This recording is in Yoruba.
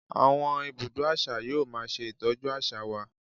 Àwọn ibùdó àṣà yóò máa ṣe Ìtọ́jú àṣà wa.